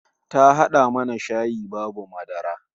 Ta hada mana shayi babu madara